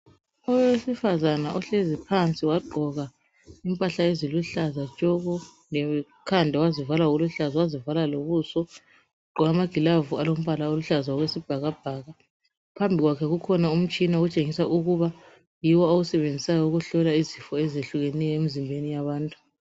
Owesifazana uhlezi phansi wagqoka impahla eziluhlaza tshoko lekhanda wazivala ngokuluhlaza wazivala lobuso ugqoke amagilovisi alombala oluhlaza okwesibhakabhaka phambi kwakhe kukhona umutshina okutshengisa ukuba yiwo awusebenzisa ukuhlola izifo ezihlukeneyo emizimbeni yabantu.